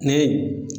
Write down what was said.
Ne